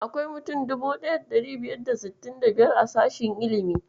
Akwai mutum 1565 a sashen ilimi.